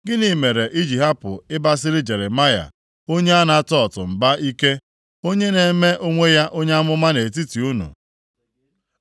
Gịnị mere i ji hapụ ịbasiri Jeremaya, onye Anatot mba ike, onye na-eme onwe ya onye amụma nʼetiti unu?